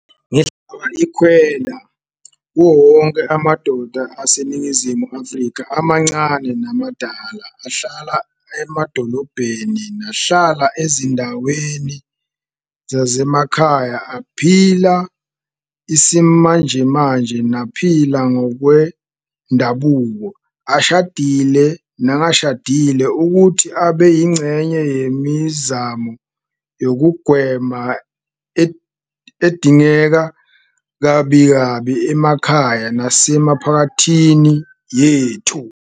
Ngihlaba ikhwelo kuwowonke amadoda aseNingizimu Afrika, amancane namadala, ahlala emadolobheni nahlala ezindaweni zasemakhaya, aphila isimanjemanje naphila ngokwendabuko, ashadile nangashadile, ukuthi abe yingxenye yemizamo yokugwema edingeka kabikabi emakhaya nasemiphakathini yethu.